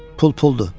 Pul puldur.